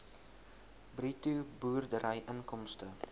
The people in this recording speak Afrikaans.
bruto boerdery inkomste